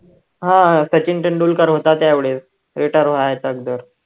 हा सचिन तेंडुलकर होता त्यावेळेस retired व्हायच्या अगोदर